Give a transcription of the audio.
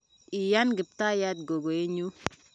iyani Kiptayat gogoe nyu